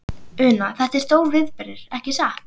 Una, þetta er stórviðburður, ekki satt?